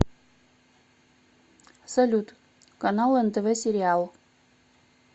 салют канал нтв сериал